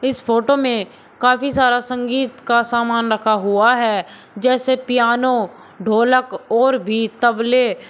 इस फोटो में काफी सारा संगीत का सामान रखा हुआ है जैसे पियानो ढोलक और भी तबले।